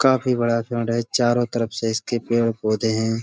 काफी बड़ा ग्राउंड है। चारों तरफ से इसके पेड़-पौधे हैं।